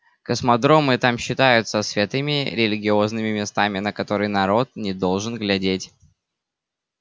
космодромы и там считаются святыми религиозными местами на которые народ не должен глядеть